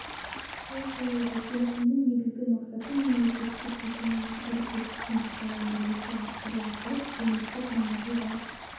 қол қойылды келісімнің негізгі мақсаты мемлекеттік-жеке меншік әріптестіктің ықпалын бірлесе арттыра отырып әлеуметтік маңызы бар